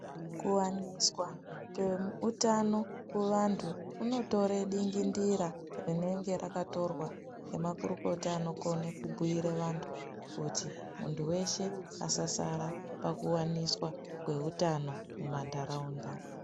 Kuwaniswa kweutano kuvantu kunotore dingindira rinenge rakatorwa ngemakurukota anokona kubhire antu kuti muntu weshe asasara pakuwaniswa kweutano mumanharaunda.